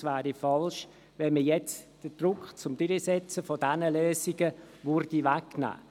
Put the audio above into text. Es wäre falsch, jetzt den Druck auf eine Durchsetzung dieser Lösungen zu lockern.